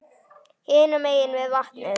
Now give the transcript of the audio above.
Hinum megin við vatnið.